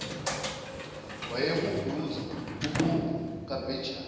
wayehubhuza uhubhu kabhejane